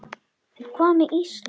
En hvað með Ísland?